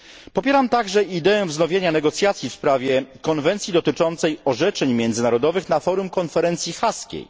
Popieram także ideę wznowienia negocjacji w sprawie konwencji dotyczącej orzeczeń międzynarodowych na forum konferencji haskiej.